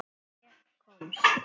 Og ég komst.